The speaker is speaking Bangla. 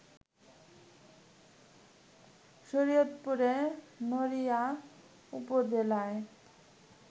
শরীয়তপুরের নড়িয়া উপজেলায়